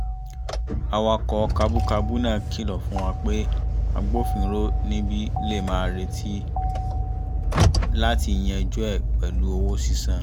awakọ̀ kabúkabú náà kìlọ̀ fún wa pé agbofinró níbí lè máa retí láti yanjú ẹ̀ pẹ̀lú owó sísan